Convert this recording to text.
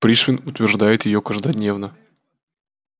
пришвин утверждает её каждодневно